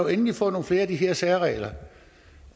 endelig få nogle flere af de her særregler